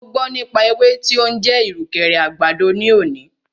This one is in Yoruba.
Mo gbọ́ nípa ewé tí o ń jẹ́ ìrùkẹ̀rẹ̀ àgbàdo ní òní.